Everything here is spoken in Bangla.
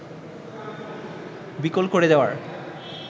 বিকল করে দেয়ার